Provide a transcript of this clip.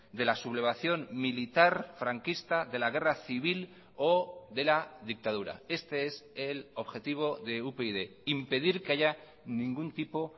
de la sublevación militar franquista de la guerra civil o de la dictadura este es el objetivo de upyd impedir que haya ningún tipo